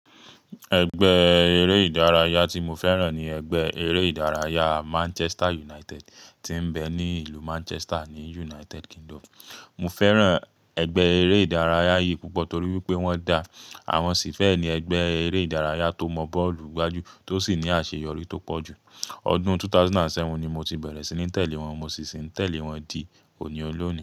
Ẹgbẹ́ eré ìdárayá tí mo fẹ́ràn ní ẹgbẹ́ eré ìdárayá Manchester United tí ń bẹ ní ìlú Manchester ni United Kingdom. Mo fẹ́ràn ẹgbẹ́ eré ìdárayá yìí púpọ̀ torí wípé wón da, àwọn sì fẹ́ ẹni ẹgbẹ́ eré ìdárayá tó mọ bọ́ọ̀lù gbájú tó sì ní àṣeyọrí tó pọ̀ jù. Ọdún 2007 ni mo ti bẹ̀rẹ̀ sí ní tẹ̀lé wọn, mo sì ṣe ń tẹ̀lé wọn di òní olóòní.